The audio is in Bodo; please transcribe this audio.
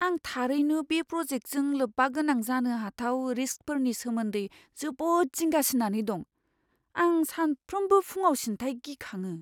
आं थारैनो बे प्र'जेक्टजों लोब्बागोनां जानो हाथाव रिस्कफोरनि सोमोन्दै जोबोद जिंगासिनानै दं, आं सानफ्रोमबो फुंआवसिनथाय गिखाङो।